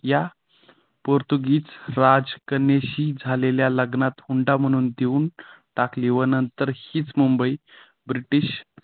या पोर्तुगीज राज कन्याशी झालेल्या लग्नात हुंडा म्हणून देऊन टाकली व नंतर हीच मुंबई ब्रिटिश